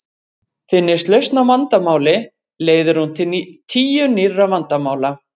Finnist lausn á vandamáli leiðir hún til tíu nýrra vandamála.